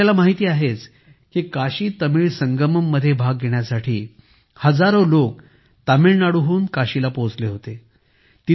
तुम्हांला माहित आहेच की काशीतमिळ संगमम मध्ये भाग घेण्यासाठी हजारो लोक तामिळनाडूहून काशीला पोहोचले होते